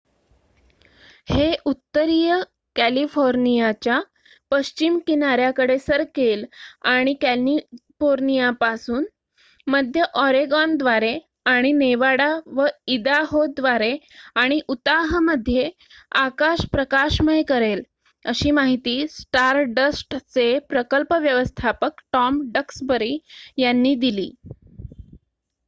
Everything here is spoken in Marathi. """हे उत्तरीय कॅलिफोर्नियाच्या पश्चिम किनाऱ्याकडे सरकेल आणि कॅलिफोर्नियापासून मध्य ऑरेगॉनद्वारे आणि नेवाडा व इदाहोद्वारे आणि उताहमध्ये आकाश प्रकाशमय करेल," अशी माहिती स्टारडस्टचे प्रकल्प व्यवस्थापक टॉम डक्सबरी यांनी दिली.